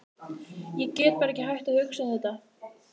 Ég get bara ekki hætt að hugsa um þetta.